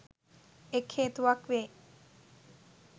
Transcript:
එක් හේතුවක් වේ.